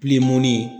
Bilenmɔni